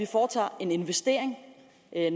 foretager en investering